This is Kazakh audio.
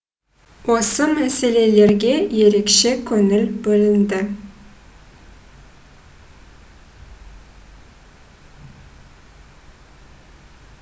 осы мәселелерге ерекше көңіл бөлінді